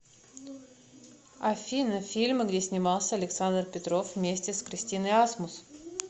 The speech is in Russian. афина фильмы где снимался александр петров вместе с кристиной асмус